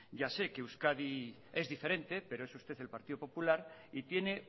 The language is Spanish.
ya se que euskadi es diferente pero es usted el partido popular y tiene